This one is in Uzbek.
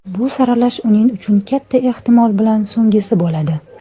Bu saralash uning uchun katta ehtimol bilan so‘nggisi bo‘ladi.